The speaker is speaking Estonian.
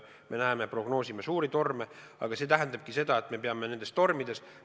Me näeme ja prognoosime suuri torme, aga me peame ka nendes tormides tegutsema.